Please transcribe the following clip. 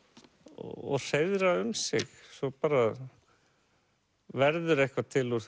og hreiðra um sig svo verður eitthvað til úr